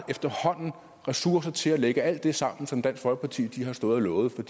ressourcer til at lægge alt det sammen som dansk folkeparti har stået og lovet for